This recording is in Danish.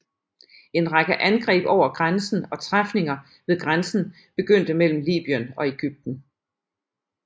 En række angreb over grænsen og træfninger ved grænsen begyndte mellem Libyen og Egypten